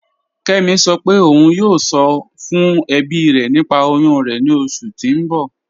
Kẹmi sọ́ pé ọ̀un yóò sọ̀ fún ẹ̀bí rẹ̀ nípà oyún rẹ̀ ni oṣù tí n bọ̀.